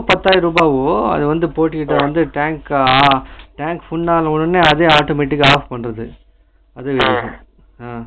பத்தாயிரம் ருவா ஆகும் அது வந்து போட்டுகிட்ட வந்து tank அஹ tank full ஆனா உடனே அதுவே automatic கா off பண்ணுது உம்